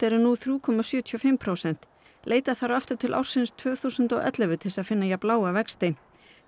eru nú þrjú komma sjötíu og fimm prósent leita þarf aftur til ársins tvö þúsund og ellefu til þess að finna jafn lága vexti